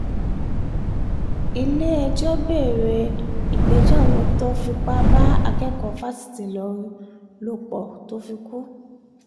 ilé-ẹjọ́ bẹ̀rẹ̀ ìgbẹ́jọ́ àwọn tó fipá bá akẹ́kọ̀ọ́ fásitì ìlọrin lò pọ̀ tó fi kú